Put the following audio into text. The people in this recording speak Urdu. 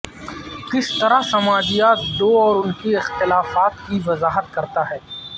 کس طرح سماجیات دو اور ان کے اختلافات کی وضاحت کرتا ہے